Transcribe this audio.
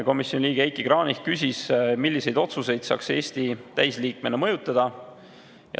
Komisjoni liige Heiki Kranich küsis, milliseid otsuseid saaks Eesti täisliikmena mõjutada.